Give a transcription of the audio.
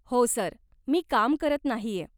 हो सर, मी काम करत नाहीय.